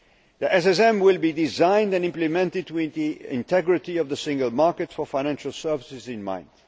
The SSM will be designed and implemented with the integrity of the single market for financial services in mind.